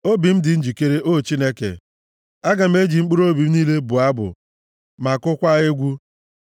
Obi m dị njikere, o Chineke; aga m eji mkpụrụobi m niile bụọ abụ ma kụkwaa egwu.